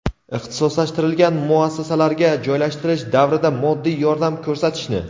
ixtisoslashtirilgan muassasalarga joylashtirish davrida moddiy yordam ko‘rsatishni;.